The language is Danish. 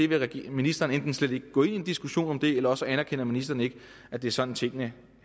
vil ministeren slet ikke gå ind i en diskussion om det eller også anerkender ministeren ikke at det er sådan tingene